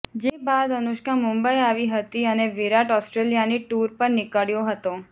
જે બાદ અનુષ્કા મુંબઈ આવી હતી અને વિરાટ ઓસ્ટ્રેલિયાની ટૂર પર નીકળ્યો હતો